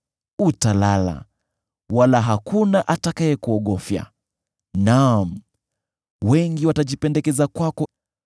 Utalala, wala hakuna atakayekuogofya, naam, wengi watajipendekeza kwako.